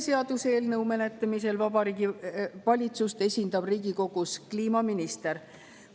Seaduseelnõu menetlemisel Riigikogus esindab Vabariigi Valitsust kliimaminister.